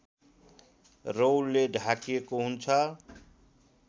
रौँले ढाकिएको हुन्छ